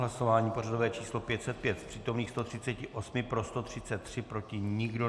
Hlasování pořadové číslo 505, z přítomných 138 pro 133, proti nikdo.